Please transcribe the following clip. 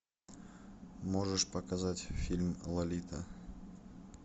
можешь показать фильм лолита